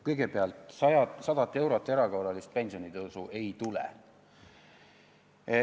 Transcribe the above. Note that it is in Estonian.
Kõigepealt, 100-eurolist erakorralist pensionitõusu ei tule.